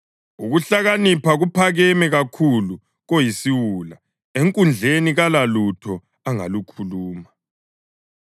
Ukuhlakanipha kuphakeme kakhulu koyisiwula; enkundleni kalalutho angalukhuluma.